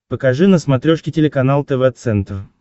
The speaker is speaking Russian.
покажи на смотрешке телеканал тв центр